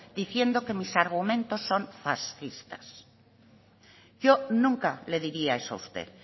diciendo que mis argumentos son fascistas yo nunca le diría eso a usted